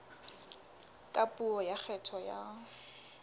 ka puo ya kgetho ya